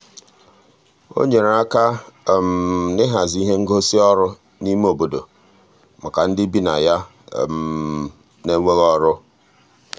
o nyere aka n'ịhazi ihe ngosị ọrụ n'ime obodo maka ndị bi na ya n'enweghị ọrụ.